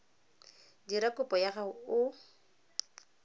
dira kopo ya gago o